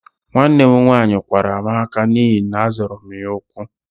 Nwanne m nwaanyị kwara m ákạ́ n'ihi na-azọra m ya ụkwụ